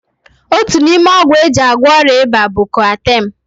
Otu n'ime ọgwụ e ji agwọ ọrịa ịba bụ koatem.